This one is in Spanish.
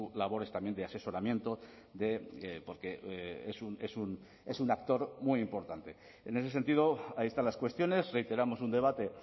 labores también de asesoramiento porque es un actor muy importante en ese sentido ahí están las cuestiones reiteramos un debate